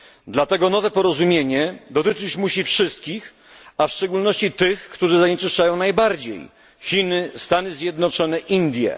Dlatego nowe porozumienie dotyczyć musi wszystkich, a w szczególności tych, którzy zanieczyszczają najbardziej Chin, Stanów Zjednoczonych, Indii.